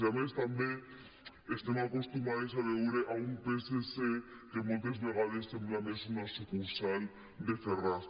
i a més també estem acostumades a veure un psc que moltes vegades sembla més una sucursal de ferraz